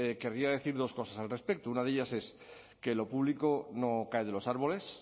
querría decir dos cosas al respecto una de ellas es que lo público no cae de los árboles